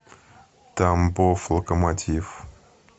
тамбов локомотив